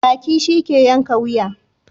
Baki shi ke yanka wuya.